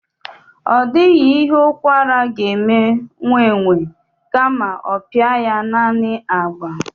Ọ dịghị ihe ụkwara ga-eme nwaenwe kama ọ pịa ya naani agba